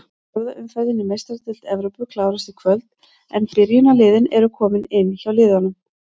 Fjórða umferðin í Meistaradeild Evrópu klárast í kvöld en byrjunarliðin eru komin inn hjá liðunum.